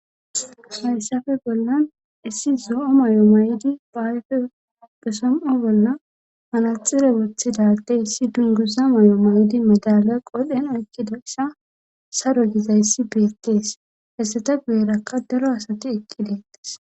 Hayssafe bollan issi zo'o may'o may'idi baayfe pesom'o bolla manaxire woththidadey issi dunguza may'o mayidi madalya qodhen ekkida sa saro gizayssi beekkees hessata guyerakka daro asati ekki deettas